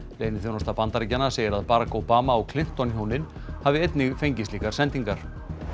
leyniþjónusta Bandaríkjanna segir að Barack Obama og Clinton hjónin hafi einnig fengið slíkar sendingar